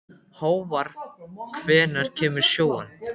Hávar, hvenær kemur sjöan?